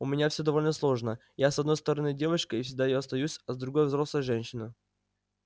у меня всё довольно сложно я с одной стороны девочка и всегда ею останусь а с другой взрослая женщина